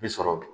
Bi sɔrɔ dun